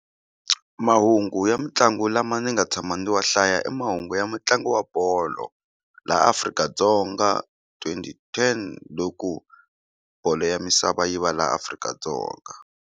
Mahungu ya mitlangu lama ni nga tshama ndzi wa hlaya i mahungu ya mutlangi wa bolo laha Afrika-Dzonga twenty ten loku bolo ya misava yi va laha Afrika-Dzonga.